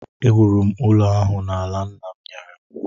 Ewuru m ụlọ ahụ n’ala nna m nyere m